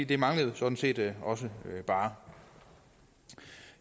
det manglede jo sådan set også bare